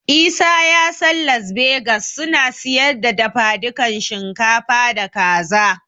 Isa ya san Las Begas suna siyar da dafadukan shinkafa da Kaza.